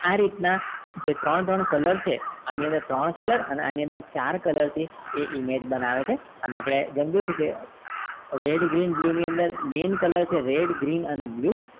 આ રીતના ત્રણ ત્રણ color છે આની અંદર ત્રણ color આની અંદર છાર color છે એ image બનાવે છે અને આપણે છીએ કે red green blue ની અંદર green color છે red green blue